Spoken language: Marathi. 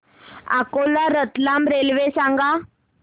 अकोला रतलाम रेल्वे सांगा